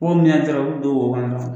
Wo min y'a ja a bi don o wo kɔnɔ na